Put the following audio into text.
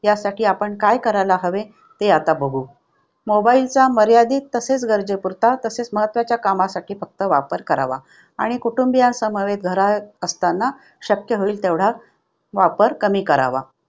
त्यासाठी आपण काय करायला हवे ते आता बघू. mobile चा मर्यादित तसेच गरजेपुरता तसेच महत्त्वाच्या कामासाठी फक्त वापर करावा. आणि कुटुंबीय समवेत घरात असताना शक्य होईल तेवढा वापर कमी करावा.